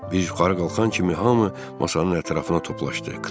Biz yuxarı qalxan kimi hamı masanın ətrafına toplandı.